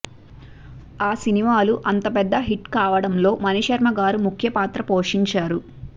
ఆ సినిమాలు అంత పెద్ద హిట్ కావడంలో మణిశర్మగారు ముఖ్యపాత్ర పోషించారు